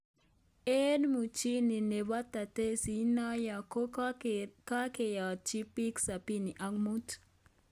Eng muchinu nebo taasiisi inoyo ko kakeyatyi biik sabini ak muut